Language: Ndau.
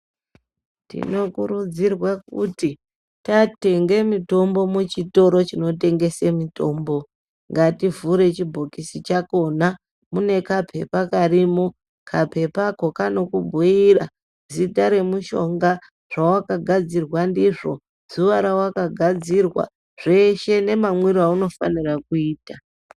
Tinokurudzirwa kuti tatenge mitombo muchitoro chinotengese mutombo, ngativhure chibhokisi chakhona mune kaphepha karimo kaphephako kaanokubhuira zita remushonga, zvawakagadzirwa ndizvo, zuwa rewakagadzirwa, zveshe nemamwire aunofanira kuita.